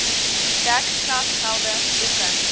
dek klasgeld boeke